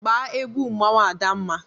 Gba egwu mmanwụ Adanma!